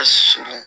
surun